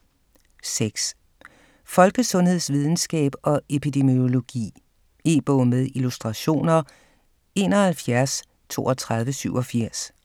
6. Folkesundhedsvidenskab og epidemiologi E-bog med illustrationer 713287